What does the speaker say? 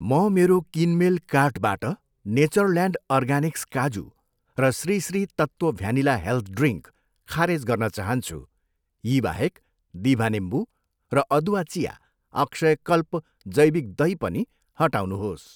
म मेरो किनमेल कार्टबाट नेचरल्यान्ड अर्गानिक्स काजु र Sri Sri Tattva vanilla health drink खारेज गर्न चाहन्छु। यी बाहेक, दिभा निम्बु र अदुवा चिया, अक्षयकल्प जैविक दही पनि हटाउनुहोस्।